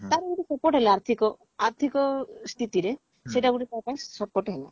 ତାର ଗୋଟେ ଆର୍ଥିକ ଆର୍ଥିକ ସ୍ଥିତିରେ ସେଇଟା ଗୋଟେ ତମ ପାଇଁ support ହେଲା